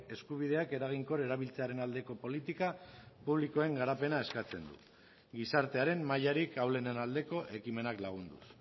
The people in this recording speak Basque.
eskubideak eraginkor erabiltzearen aldeko politika publikoen garapena eskatzen du gizartearen mailarik ahulenen aldeko ekimenak lagunduz